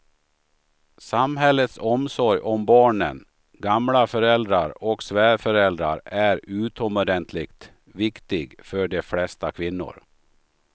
Samhällets omsorg om barnen, gamla föräldrar och svärföräldrar är utomordentligt viktig för de flesta kvinnor.